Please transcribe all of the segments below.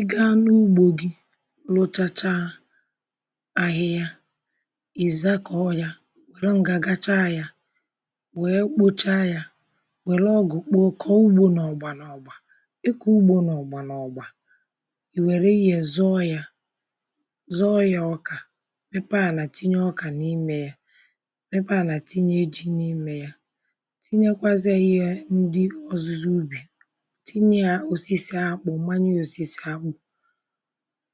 Ị́ga à na-ùgbò gị lụchàchá ahịhịa, èzà kọ́ọ ya, wèrè ngà gàchá ya, wéé kpochá ya, wèrè ọgụ kpụọ kọ́ọ ụ̀gbọ̀ n’ọ̀gbà n’ọ̀gbà, ịkọ̀ ụ̀gbọ̀ n’ọ̀gbà n’ọ̀gbà ì wèrè ihe zòọ ya zòọ yá ọ̀kà mépéé àná tìnyé ọ̀kà n’ímé yá, mépéé àná tìnyé jí n’ímé yá, tìnyékwazíe yá ihe ndị ọzụ̀zụ̀ ùbí, tìnyé ya òsìsì àkpù, mànyé ya òsìsì àkpó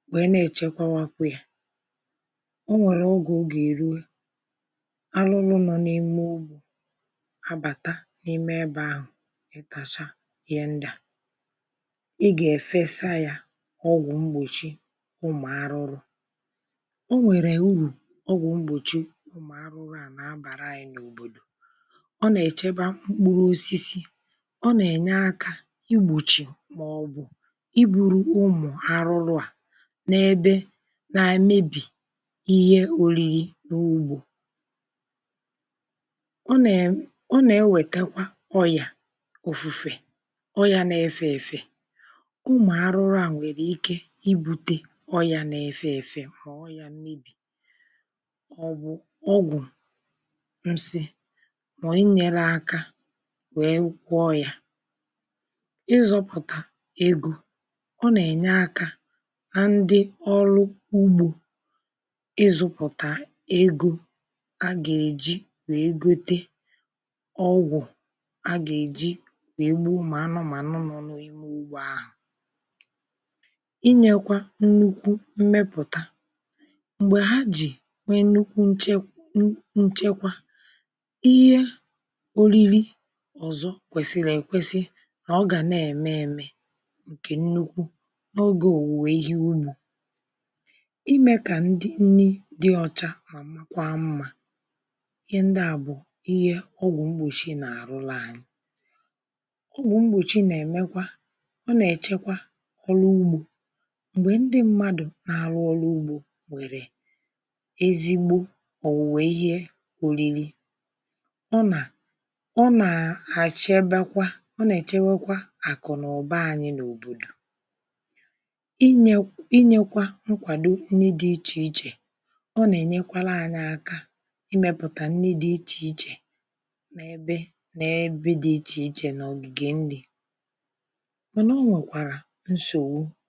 nwèè nà-èchèkwàákwà yá ọ̀ nwèrè oge ọ gà-èrùwé àrụrụ nọ̇ n’ímé ụ̀gbọ̀ àbàtà n’ímé ebe ahụ̀ ịtachá ìhè ndị à ị gà-efèsá yá ògwù mgbòchi ụmụ̀ àrụ̀rụ̀ ọ nwèrè ùrù ògwù mgbòchi ụmụ̀ àrụ̀rụ̀ à nà-abàrà ànyị̇ n’òbòdò, ọ nà-èchèbà mkpụrụ̀ òsìsì, ọ nà-ènyé aká ìgbòchì màọbụ̀ ìgbùrú ụmụ̀ àrụ̀rụ̀ a n’ebe n’èmèbí ihe òrì̇rì̇ n’ùgbò ọ nà-ewètékwà ọ̀yà òfù̇fè, ọ̀yà n’efe ėfė, ụmụ̀ àrụ̀rụ̀ à nwèrè ìké ibùté ọ̀yà n’efe ėfė mà ọ̀yà mmebí, ọ̀ bụ̀ ògwù msị mà e nyere ȧká nwèé gwọ́ yá, ízùputa égo, ọ nà-ènyé aka nà ndị ọrụ ùgbò ízụ̇pụ̀tà égo a gà-èjí wéé gòté ògwù a gà-èjí wéé gbu ụmụ̀ ànụ̀manụ nọ̀ n’ímé ùgbò ahụ̀ ị̀ nyékwà ńnùkù mmépụ̀tà m̀gbè hà jì wéé ńnùkù nche, nsọ̀nso, ihe oriri ọzọ̀ kwèsìlì nà ọ gà nà-ème èmé nke ńnùkù n’ogé òwùwè ihe ụ̀nò, ímé kà nnì dị ọ́cha mà mákwá mmà, ìhè ndị à bụ̀ ìhè ògwù mgbòchi nà-àrụ̀lụ̀ ànyị̇ ògwù mgbòchi nà-èmékwà ọ nà-èchèkwà òlụ̀ ùgbò m̀gbè ndị mmádụ̀ nà-àrụ̀ òlụ̀ ùgbò nwèrè ézigbo ọ̀wù̀wé ihe òrìrì, ọ nà ọ̀ nà-èchèbékwà ọ nà-èchèwèkwà àkù̀nụ̀bà ànyị̇ n’òbòdò ínyékwà nkwàdó nnì dị iche-iche, ọ nà-ènyékwàrạ ànyị aka ímépụ̀tà nnì dị iche-iche nà ebe nà-ebe dị iche-iche nà ọ̀gìgè nnị̇, mànà ọ́ wékwàrạ nsọ̀nso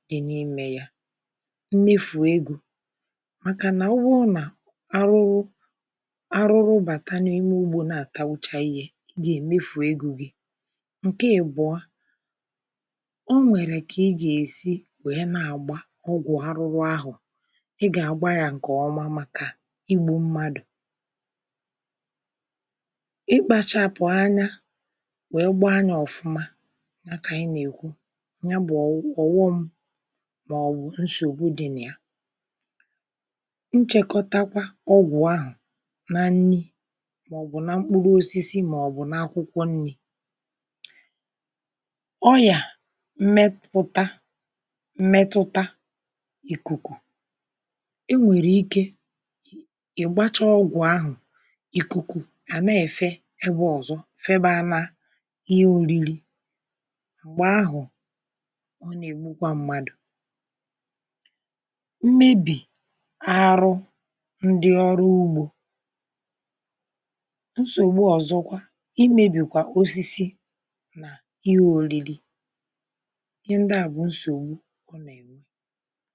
dị n’ímé ya, mmèfù égo, màkà nà òbùrù nà àrụ̀rụ̀, àrụ̀rụ̀ bàtà n’ímé ùgbò nà-àtàgbóchà ìhè, ị gà-èméfù égo gị, nke ìbọọ a onwèrè ka í gà-èsí wéé nà-àgba ògwù àrụ̀rụ̀ ahụ̀, ị gà-àgbà ya nke ọ́ma màkà ígbú mmádụ̀, íkpàchapụ̀ ànyá wéé gbà ya òfùmá, yá kà ànyị nà-àsị, yá bụ̀ òghò m màọbụ̀ nsọ̀nso dị nà ya. nchékòtákwà ògwù ahụ̀ nà nnì màọbụ̀ nà mkpụrụ̀ òsìsì màọbụ̀ nà àkwụ̀kwọ̀ nnì ònyíá mmépùtà, mmetụ̀tà ìkùkù onwèrè ìké ègbàchá ògwù ahụ̀, ìkùkù à nà-èfé ebe òzò fèbà nà-ìhè orìrì, m̀gbè ahụ̀, ọ nà-ègbùkwà mmádụ̀ mmébi àrụ̀ ndị òrụ̀ ùgbò, nsọ̀nso òzòkwà, èmébìkwà òsìsì n’ìhè orìrì ìhè ndị à bụ̀ nsọ̀nso ọ nà-ènwè.